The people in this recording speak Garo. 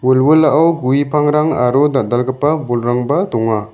wilwilao gue pangrang aro dal·dalgipa bolrangba donga.